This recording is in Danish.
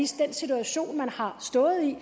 situation man har stået i